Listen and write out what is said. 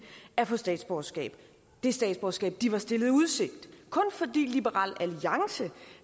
at få statsborgerskab det statsborgerskab de var stillet i udsigt kun fordi liberal alliance